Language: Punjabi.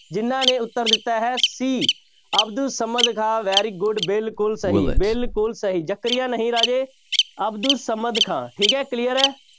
ਜਿਹਨਾਂ ਨੇ ਉੱਤਰ ਦਿੱਤਾ ਹੈ c Abdul Samad Khan very good ਬਿਲਕੁਲ ਸਹੀ ਬਿਲਕੁਲ ਸਹੀ, ਜ਼ਕਰੀਆਂ ਖਾਨ ਨਹੀਂ ਰਾਜੇ ਅਬਦੁਲ ਸਮਦ ਖਾਂ ਠੀਕ ਹੈ clear ਹੈ।